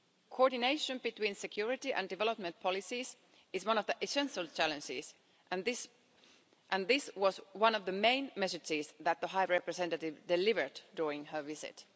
Coordination between security and development policies is one of the essential challenges, and this was one of the main messages that the High Representative delivered during her visit.